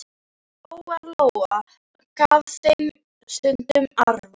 Lóa-Lóa gaf þeim stundum arfa.